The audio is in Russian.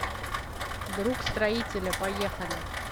друг строителя поехали